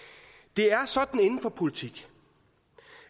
det er sådan inden for politik